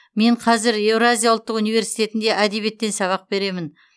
мен қазір еуразия ұлттық университетінде әдебиеттен сабақ беремін